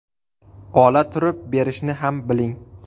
Ola turib, berishni ham biling.